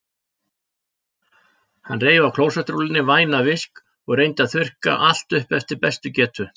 Hann reif af klósettrúllunni vænan visk og reyndi að þurrka allt upp eftir bestu getu.